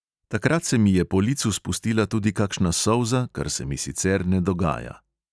Takrat se mi je po licu spustila tudi kakšna solza, kar se mi sicer ne dogaja.